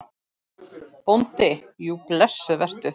BÓNDI: Jú, blessuð vertu.